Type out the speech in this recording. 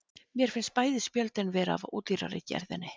Mér finnst bæði spjöldin vera af ódýrari gerðinni.